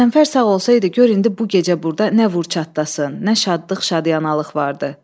Qəzənfər sağ olsaydı, gör indi bu gecə burda nə vur çatlasın, nə şadlıq, şadyanalıq vardı.